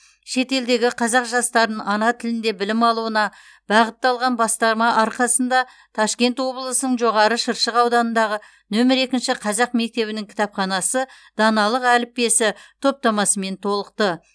шет елдегі қазақ жастарын ана тілінде білім алуына бағытталған бастама арқасында ташкент облысының жоғары шыршық ауданындағы нөмір екінші қазақ мектебінің кітапханасы даналық әліппесі топтамасымен толықты